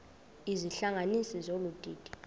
izihlanganisi zolu didi